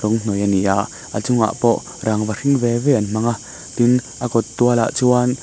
in hnuai a ni a a chunga pawh rangva hring ve ve an hmang a tin a kawt tualah chuan--